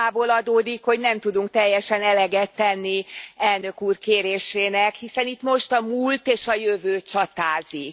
A témából adódik, hogy nem tudunk teljesen eleget tenni az elnök úr kérésének, hiszen itt most a múlt és a jövő csatázik.